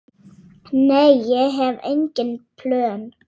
Nei, ég hef engin plön.